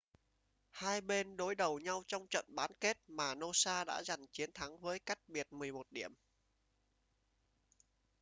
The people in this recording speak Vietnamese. hai bên đối đầu nhau trong trận bán kết mà noosa đã giành chiến thắng với cách biệt 11 điểm